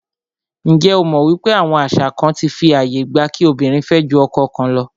Njé o mọ̀ wípé àwọn àṣà kán fí ààyè gba kí obìnrin fẹ́ jù ọkọ kan lọ?